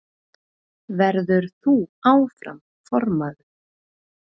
Verður þú áfram formaður?